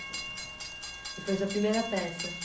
E foi sua primeira peça?